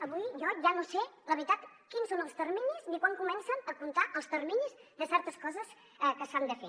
avui jo ja no sé la veritat quins són els terminis ni quan comencen a comptar els terminis de certes coses que s’han de fer